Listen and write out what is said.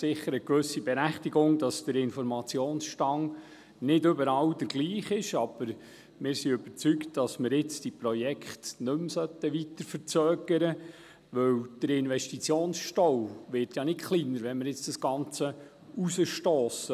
Der Hinweis, dass der Informationsstand nicht überall der gleiche ist, hat sicher eine gewisse Berechtigung, aber wir sind überzeugt, dass wir jetzt diese Projekte nicht mehr weiter verzögern sollten, denn der Investitionsstau wird ja nicht kleiner, wenn wir jetzt das Ganze hinausschieben.